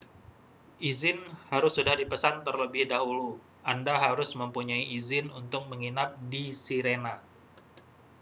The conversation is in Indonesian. izin harus sudah dipesan terlebih dahulu anda harus mempunyai izin untuk menginap di sirena